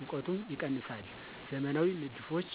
ሙቀቱም ይቀነሳል። ዘመናዊ ንድፎች